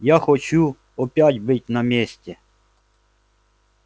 я хочу опять быть на месте